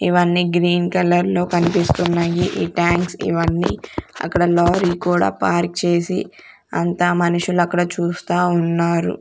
ఇవన్నీ green colour లో కనిపిస్తున్నాయి ఈ టాంక్స్ ఇవన్నీ అక్కడ లారీ కూడా పార్క్ చేసి అంతా మనుషులు అక్కడ చూస్తా ఉన్నారు.